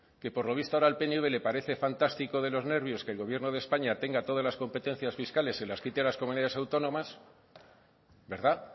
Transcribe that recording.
que por lo visto ahora al pnv le parece fantástico de los nervios que el gobierno de españa tenga todas las competencias fiscales en las citadas comunidades autónomas verdad